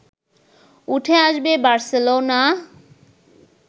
উঠে আসবে বার্সেলোনা